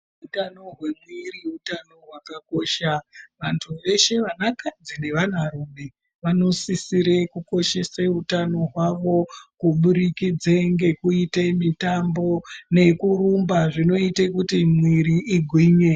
Utano hwemiri utano hwakakosha. Antu eshe vanakadzi nevanarume vanosisire kukoshesa utano hwavo kuvurikidza nekuita mitambo nekurumba zvinoite mwiri igwinye.